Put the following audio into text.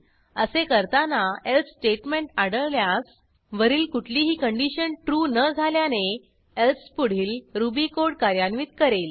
असे करताना else statement आढळल्यास वरील कुठलीही कंडिशन ट्रू न झाल्याने एल्से पुढील रुबी कोड कार्यान्वित करेल